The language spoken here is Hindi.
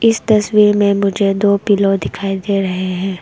इस तस्वीर में मुझे दो पिलो दिखाई दे रहे हैं।